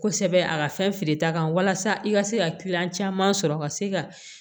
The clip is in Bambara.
Kosɛbɛ a ka fɛn feere ta kan walasa i ka se ka kiliyan caman sɔrɔ ka se ka